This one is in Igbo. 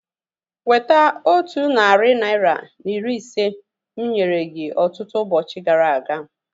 Weta otu narị naira na iri ise mụ nyere gị ọtụtụ ụbọchị gara aga